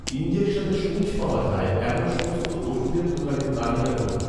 ইনজেকশনের সূঁচ পাওয়া যায়, এমন সমস্ত ওষুধের দোকানের তালিকা করুন